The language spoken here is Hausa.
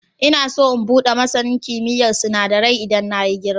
Ina so in buɗe masanin kimiyyar sinadarai idan na yi girima.